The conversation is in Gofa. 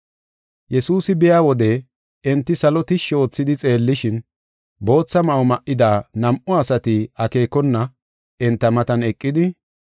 Yesuusi biya wode enti salo tishshi oothidi xeellishin, bootha ma7o ma7ida nam7u asati akeekona enta matan eqidi,